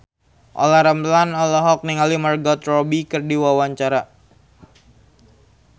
Olla Ramlan olohok ningali Margot Robbie keur diwawancara